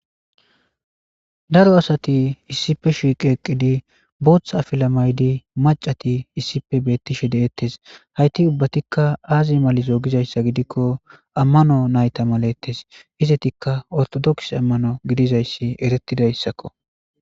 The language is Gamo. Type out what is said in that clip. Daro asati issipe shiqieqqidi booththa afila maydi macati issipe beettishe deettes hayti ubbatikka aazi malizo gizayssa gidikko ammano nayta malettes izetikka ortodoks ammano gidizayssi eretidayssakko.